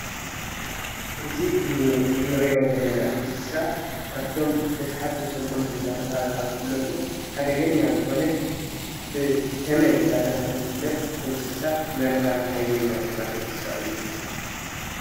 እዚ ንሪኦ ዘለና እንስሳ ካበቶም ተሳሓብትን ሰጎምትን እናተባሃሉ ካበ ዝፍለጡ ሓደገኛ ዝኮነ ብ ተመን እንዳ ተበሃለ ዝፍለጥ እንስሳ መርዛም ሃይለኛ ዝኮነ እንስሳ እዩ::